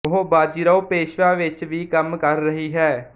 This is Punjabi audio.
ਉਹ ਬਾਜੀਰਾਓ ਪੇਸ਼ਵਾ ਵਿੱਚ ਵੀ ਕੰਮ ਕਰ ਰਹੀ ਹੈ